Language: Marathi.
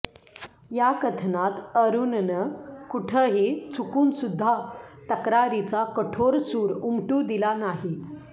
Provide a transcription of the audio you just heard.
या कथनात अरुणनं कुठंही चुकूनसुद्धा तक्रारीचा कठोर सूर उमटू दिला नाही